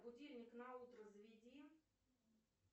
будильник на утро заведи